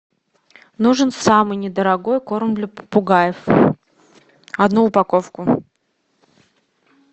нужен самый недорогой корм для попугаев одну упаковку